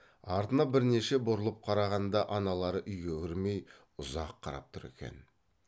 артына бірнеше бұрылып қарағанда аналары үйге кірмей ұзақ қарап тұр екен